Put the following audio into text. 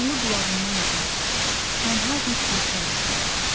Canlı qulağından uzaq, tənha bir guşə lazımdır.